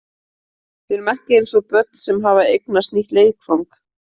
Við erum eins og börn sem hafa eignast nýtt leikfang.